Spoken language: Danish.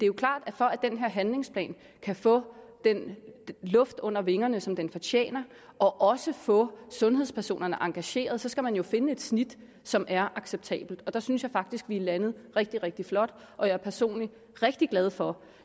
jo klart at for at den her handlingsplan kan få luft under vingerne som den fortjener og også få sundhedspersonerne engageret skal man jo finde et snit som er acceptabelt der synes jeg faktisk vi er landet rigtig rigtig flot og jeg er personligt rigtig glad for